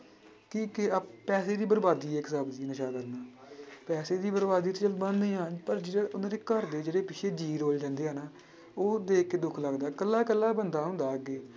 ਕੀ ਕੀ ਆਹ ਪੈਸੇ ਦੀ ਬਰਬਾਦੀ ਹੈ ਇੱਕ ਹਿਸਾਬ ਦੀ ਨਸ਼ਾ ਕਰਨਾ ਪੈਸੇ ਦੀ ਬਰਬਾਦੀ ਤੇ ਚੱਲ ਬਣਨੀ ਆਂ ਪਰ ਜਿਹੜੇ ਉਹਨਾਂ ਦੇ ਘਰ ਦੇ ਜਿਹੜੇ ਪਿੱਛੇ ਜੀਅ ਰੁੱਲ ਜਾਂਦੇ ਆ ਨਾ ਉਹ ਦੇਖ ਕੇ ਦੁੱਖ ਲੱਗਦਾ ਇਕੱਲਾ ਇਕੱਲਾ ਬੰਦਾ ਹੁੰਦਾ ਅੱਗੇ।